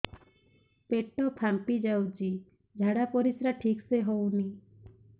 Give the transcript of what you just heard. ପେଟ ଫାମ୍ପି ଯାଉଛି ଝାଡ଼ା ପରିସ୍ରା ଠିକ ସେ ହଉନି